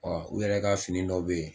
Ɔ u yɛrɛ ka fini dɔ be yen